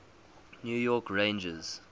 new york rangers